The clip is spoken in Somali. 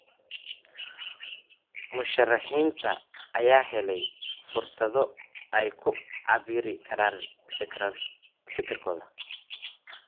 Musharixiinta ayaa helay fursado ay ku cabiri karaan fikirkooda.